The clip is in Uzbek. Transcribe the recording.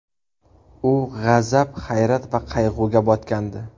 U g‘azab, hayrat va qayg‘uga botgandi.